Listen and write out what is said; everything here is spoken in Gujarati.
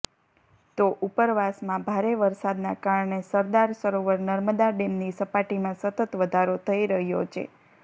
તો ઉપરવાસમાં ભારે વરસાદના કારણે સરદાર સરોવર નર્મદા ડેમની સપાટીમાં સતત વધારો થઈ રહ્યો છે